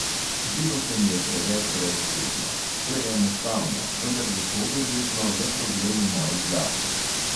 Zdelo se mi je preveč brezosebno, preenostavno, vendar je to verjetno le problem v moji glavi.